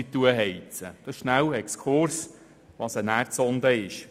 Dies war ein kurzer Exkurs als Erklärung, was eine Erdsonde ist.